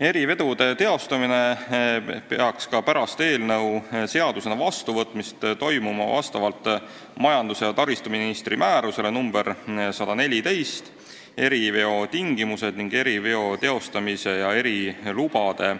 Eriveod peaks ka pärast eelnõu seadusena vastuvõtmist toimuma vastavalt majandus- ja taristuministri määrusele nr 114 "Eriveo tingimused ning eriveo teostamise ja erilubade